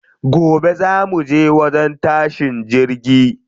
Gobe za muje wajen tashin jirgi.